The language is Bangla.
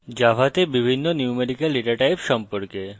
জাভাতে বিভিন্ন ন্যূমেরিকাল ডেটা types সম্পর্কে এবং